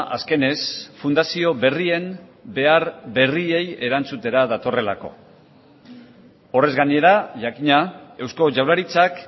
azkenez fundazio berrien behar berriei erantzutera datorrelako horrez gainera jakina eusko jaurlaritzak